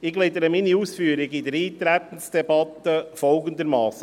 Ich gliedere meine Ausführungen in der Eintretensdebatte folgendermassen: